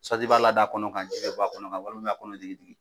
i b'a lada a kɔnɔ kan , ji bɛ bɔ kɔnɔ kan walima i b'a kɔnɔ digi digi